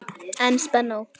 En spennó!